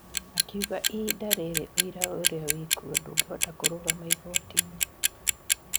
Akiuga ihinda rĩrĩ ũira ũrĩa wĩkuo ndũngihota kũrũgama igoti-inĩ.